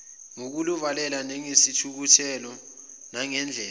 ngokuluvalela ngesihluthulelo nangandlela